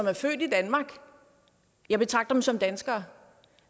er født i danmark jeg betragter dem som danskere